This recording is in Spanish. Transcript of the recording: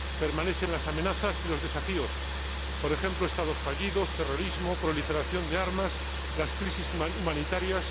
Permanecen las amenazas y los desafíos por ejemplo, Estados fallidos, terrorismo, proliferación de armas, crisis humanitarias.